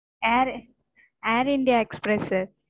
Air Air India Express sir